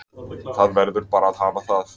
Það verður bara að hafa það